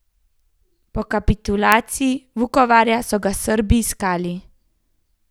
Po kapitulaciji Vukovarja so ga Srbi iskali.